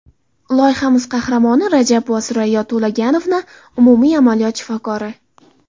Loyihamiz qahramoni Rajabova Surayyo To‘laganovna, umumiy amaliyot shifokori.